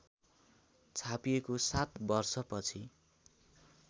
छापिएको ७ वर्षपछि